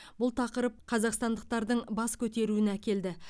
бұл тақырып қазақстандықтардың бас көтеруіне әкелді